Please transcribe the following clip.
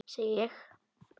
Segi ég.